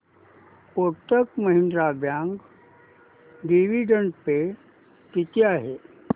Kotak Mahindra bank dividend pay किती आहे